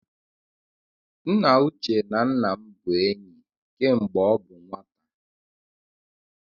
Nna Uche na nna m bụ enyi kemgbe ọ bụ nwata